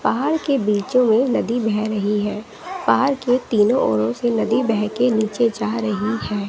पहाड़ के बीच में नदी बह रही है पहाड़ के तीनों औरों से नदी बहके नीचे जा रही है।